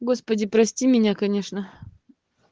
господи прости меня конечно